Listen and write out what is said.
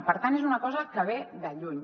per tant és una cosa que ve de lluny